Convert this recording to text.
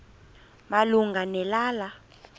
malunga ne lala